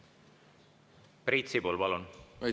Priit Sibul, palun!